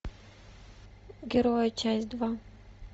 герои часть два